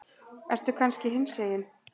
Ertu kannski hinsegin?